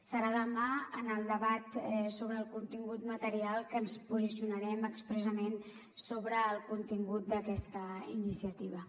serà demà en el debat sobre el contingut material que ens posicionarem expressament sobre el contingut d’aquesta iniciativa